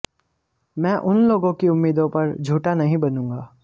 मैं उन लोगों की उम्मीदों पर झूठा नहीं बनूंगा